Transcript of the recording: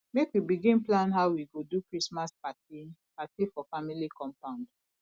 make we begin plan how we go do christmas party party for family compound